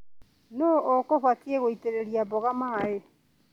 Nũu ũkũbatie gũitĩrĩria mboga maĩ.